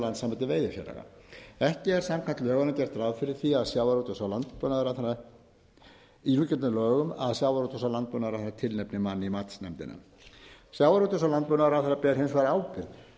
landssambandi veiðifélaga ekki er samkvæmt lögunum gert ráð fyrir því að sjávarútvegs og landbúnaðarráðherra í xxxxx lögum að sjávarútvegs og landbúnaðarráðherra tilnefni mann í matsnefndina sjávarútvegs og landbúnaðarráðherra ber hins vegar ábyrgð